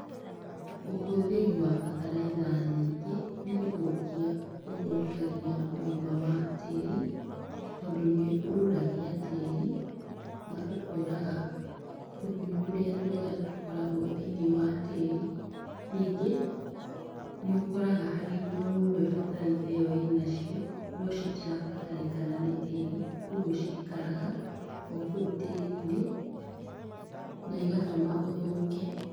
Ũhũthĩri wa bataraitha nyingĩ nĩgũthũkia ũthũkagia tĩri, tondũ nĩũrũragia tĩĩri na ũkoraga tũgunyũ tũrĩa twega tũkoragwo thĩiniĩ wa tĩĩri. Nyingĩ nĩ harĩ indo imwe bataraitha ĩo ĩnacio nocitirabatarĩkana nĩ tĩri ũgwo cikara o kũu tĩĩrinĩ na igatũma ũthũke.